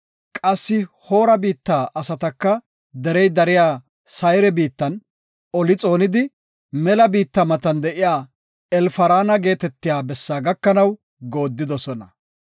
Qassi Hoora biitta asataka derey dariya Sayre biittan oli xoonidi, mela biitta matan de7iya Elfaraana geetetiya bessa gakanaw goodidosona.